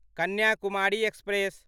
Kanyakumari express